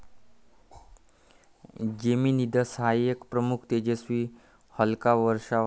Geminids हा एक प्रमुख, तेजस्वी उल्का वर्षाव आहे.